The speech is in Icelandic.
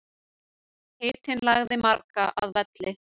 Hitinn lagði marga að velli